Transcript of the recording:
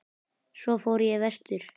Svo fór ég vestur.